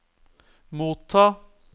motta